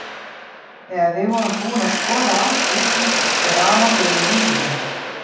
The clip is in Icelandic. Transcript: Þegar við vorum búin að skoða allt úti bauð afi okkur inn í húsið sitt.